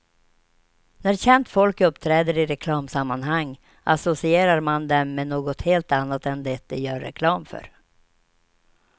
När känt folk uppträder i reklamsammanhang, associerar man dem med något helt annat än det de gör reklam för.